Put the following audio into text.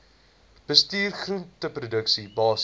bestuur groenteproduksie basiese